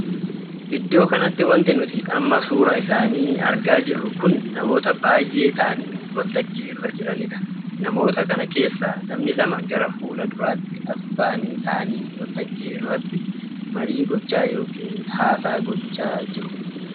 Iddoo kanatti wanti nuti amma suuraa isaanii argaa jirru kun namoota baay'ee taa'anii waltajjii irra jiranidha. namoota kana keessaa namni lama gara fuula duraatti asi baa'anii taa'anii waltajjii irratti marii gochaa ykn haasaa gochaa kan jiranidha.